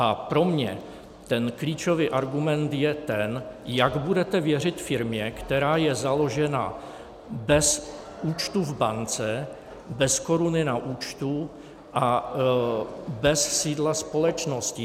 A pro mě ten klíčový argument je ten, jak budete věřit firmě, která je založena bez účtu v bance, bez koruny na účtu a bez sídla společnosti.